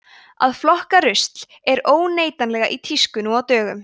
að flokka rusl er óneitanlega í tísku nú á dögum